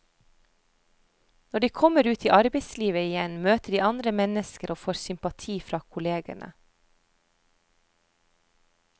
Når de kommer ut i arbeidslivet igjen, møter de andre mennesker og får sympati fra kollegene.